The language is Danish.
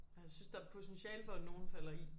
Jeg synes der er potentiale for at nogen falder i